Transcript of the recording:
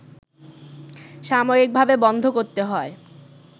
সাময়িকভাবে বন্ধ করতে হয়